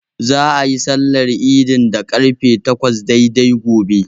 Za'a yi sallar idin da ƙarfe takwas daidai gobe.